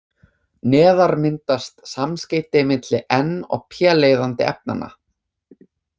Neðar myndast samskeyti milli n- og p-leiðandi efnanna.